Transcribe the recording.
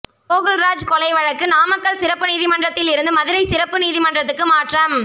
கோகுல்ராஜ் கொலை வழக்கு நாமக்கல் சிறப்பு நீதிமன்றத்தில் இருந்து மதுரை சிறப்பு நீதிமன்றத்துக்கு மாற்றம்